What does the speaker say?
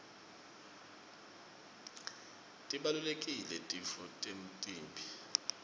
tibalulekile titfo temtimba